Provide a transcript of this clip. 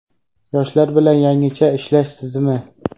Yoshlar bilan yangicha ishlash tizimi.